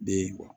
Be ye